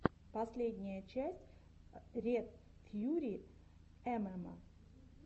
последняя часть ред фьюри эмэма